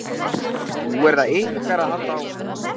Nú er það ykkar að halda áfram.